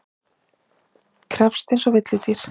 Krefjist einsog villidýr.